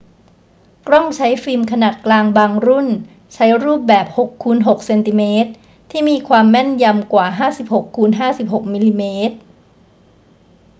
กล้องใช้ฟิล์มขนาดกลางบางรุ่นใช้รูปแบบ 6 x 6 ซม ที่มีความแม่นยำกว่า 56 x 56 มม